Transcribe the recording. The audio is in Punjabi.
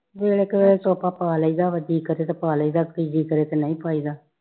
ਵੇਲੇ ਕੁਵੇਲੇ ਤੋਪਾ ਪਾ ਲਈਦਾ ਜੀ ਕਰੇ ਤੇ ਪਾ ਲਈਦਾ ਜੀ ਕਰੇ ਤੇ ਨਹੀਂ ਪਾਈਦਾ